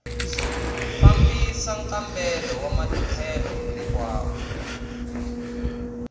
fambisa nkambelo wa matlhelo hinkwawo